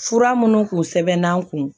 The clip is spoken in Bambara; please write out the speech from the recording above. Fura minnu tun sɛbɛnna n kun